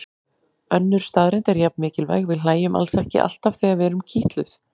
Önnur staðreynd er jafn mikilvæg: Við hlæjum alls ekki alltaf þegar við erum kitluð.